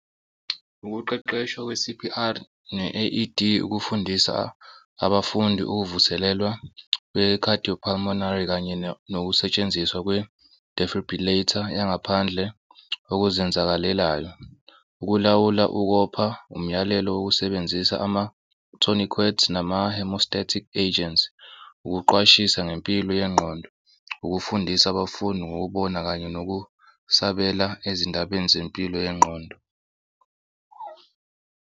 Ukuqeqeshwa kwe-C_P_R ne-I_E_D ukufundisa abafundi ukuvuselelwa kwe-cardiopulmonary kanye nokusetshenziswa kwe-defribrillator yangaphandle okuzenzakalelayo, ukulawula ukopha umyalelo wokusebenzisa ama-tonic words nama-hemostatic agents. Ukuqwashisa ngempilo yengqondo, ukufundisa abafundi ngokubona kanye nokusabela ezindabeni zempilo yengqondo.